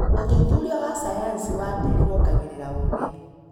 ũthuthuria wa sayansi wa tĩri wongagĩrĩra ũgĩ.